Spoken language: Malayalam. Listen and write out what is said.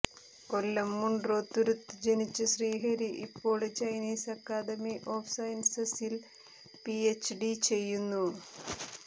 കൊല്ലം മുണ്ട്രോത്തുരുത്ത് ജനിച്ച ശ്രീഹരി ഇപ്പോള് ചൈനീസ് അക്കാദമി ഓഫ് സയൻസസിൽ പിഎച്ച്ഡി ചെയ്യുന്നു